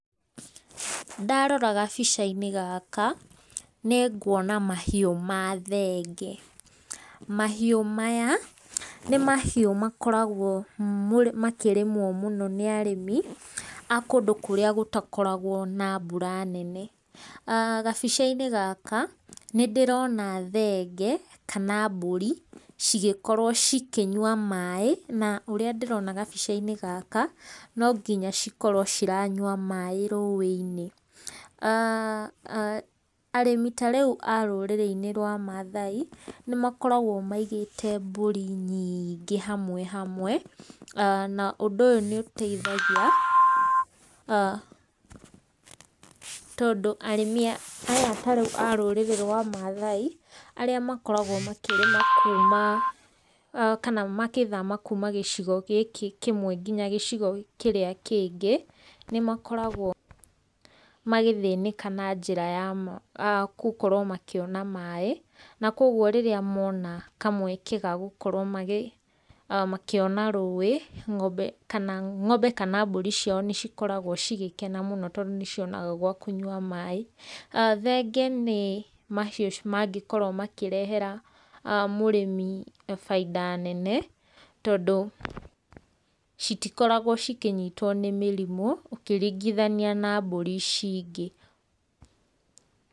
Ndarora gabica-inĩ gaka nĩ nguona mahiũ ma thenge, mahiũ maya, nĩ mahiũ makoragwo makĩrĩmwo mũno nĩ arĩmi a kũndũ kũrĩa gũtakoragwo na mbura nene, gabica-inĩ gaka, nĩ ndĩrona thenge, kana mbũri cigĩkorwo cikĩnyua maĩ, na ũrĩa ndĩrona gabica-inĩ gaka, no nginya cikorwo ciranyua maĩ rũĩ-inĩ. Arĩmi ta rĩu a rũrĩrĩ-inĩ rwa mathai nĩ makoragwo maigĩte mbũri nyingĩ hamwe hamwe na ũndũ ũyũ nĩ ũteithagia tondũ arĩmi aya ta rĩu a rũrĩrĩ rwa mathai arĩa makoragwo makĩrĩma kuuma kana magĩthama kuuma gĩcigo gĩkĩ kĩmwe nginya gĩcigo kĩrĩa kĩngĩ nĩ makoragwo magĩthĩnĩka na njĩra ya gũkorwo makĩona maĩ, na koguo rĩrĩa mona kamweke ga gũkorwo magĩ makĩona rũĩ ng'ombe kana ng'ombe kana mbũri ciao nĩ cikoragwo cigĩkena mũno tondũ nĩ cionaga gwa kũnyua maĩ. Thenge nĩ mahiũ mangĩkorwo makĩrehera mũrĩmi bainda nene tondũ citikoragwo cikĩnyitwo nĩ mĩrimũ ũkĩringithania na mbũri ici ingĩ.